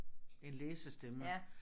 En læsestemme